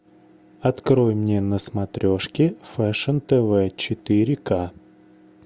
открой мне на смотрешке фэшн тв четыре ка